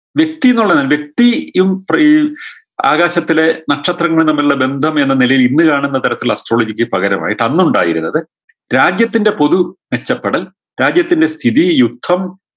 വ്യക്തിന്നുള്ള നി വ്യക്തി യും പ്രീ ആകാശത്തിലെ നക്ഷത്രങ്ങളും തമ്മിലുള്ള ബന്ധം എന്ന നിലയിൽ ഇന്ന് കാണുന്ന തരത്തിലുള്ള astrology ക്ക് പകരമായിട്ട് അന്നുണ്ടായിരുന്നത് രാജ്യത്തിൻറെ പൊതു മെച്ചപ്പെടൽ രാജ്യത്തിൻറെ സ്ഥിതി യുക്തം